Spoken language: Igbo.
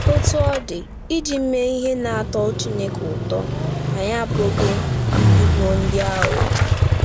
Otú ọ dị, iji mee ihe na-atọ Chineke ụtọ, anyị apụghị ịbụ ndị aghụghọ.